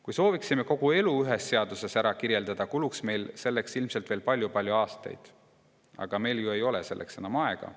Kui sooviksime kogu elu ühes seaduses ära kirjeldada, kuluks meil selleks ilmselt veel palju-palju aastaid, aga meil ei ole ju selleks enam aega.